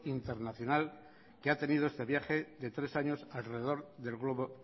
internacional que ha tenido este viaje de tres años alrededor del globo